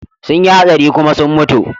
Sun yi hatsari kuma sun mutu.